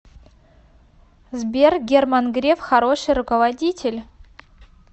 сбер герман греф хороший руководитель